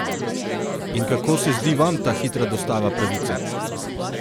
In kako se zdi vam ta hitra dostava pravice?